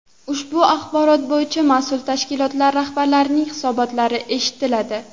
Ushbu axborot bo‘yicha mas’ul tashkilotlar rahbarlarining hisobotlari eshitiladi.